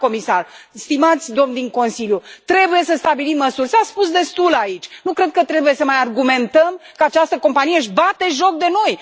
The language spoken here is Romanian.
Doamna comisar, stimați domni din Consiliu, trebuie să stabilim măsuri. S a spus destul aici, nu cred că trebuie să mai argumentăm că această companie își bate joc de noi.